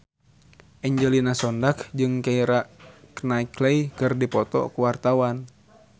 Angelina Sondakh jeung Keira Knightley keur dipoto ku wartawan